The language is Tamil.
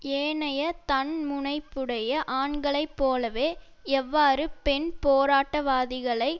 ஏனைய தன்முனைப்புடைய ஆண்களைப் போலவே எவ்வாறு பெண் போராட்டவாதிகளைப்